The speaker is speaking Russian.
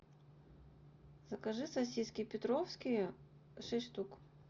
закажи сосиски петровские шесть штук